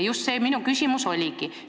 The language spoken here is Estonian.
Just see minu küsimus oligi.